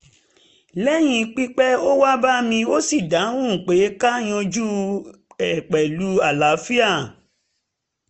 lẹ́yìn pípẹ́ ó wá bá mi ó sì dáhùn pé ká yanjú e pẹ̀lú àlàáfíà